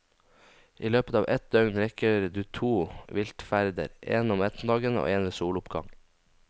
I løpet ev et døgn rekker du to viltferder, en om ettermiddagen og en ved soloppgang.